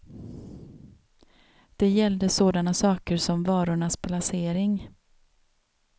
Det gällde sådana saker som varornas placering.